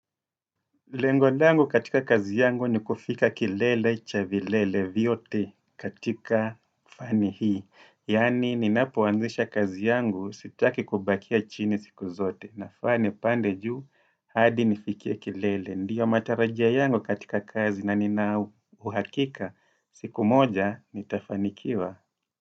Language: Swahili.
Lengo langu katika kazi yangu ni kufika kilele, cha vilele, viyote katika fani hii. Yaani ninapoanzisha kazi yangu sitaki kubakia chini siku zote. Nafaa nipande juu hadi nifikie kilele. Ndiyo matarajio yangu katika kazi na nina uhakika. Siku moja nitafanikiwa.